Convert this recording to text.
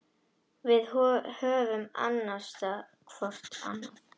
Við höfum annast hvor annan.